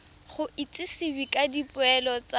go itsisiwe ka dipoelo tsa